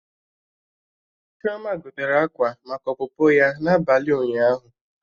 Chioma gotere akwa maka ọpụpụ ya n'abalị ụnyaahụ